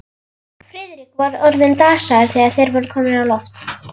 Friðrik var orðinn dasaður, þegar þeir voru komnir á loft.